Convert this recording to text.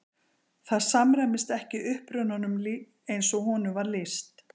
Það samræmist ekki upprunanum eins og honum var lýst.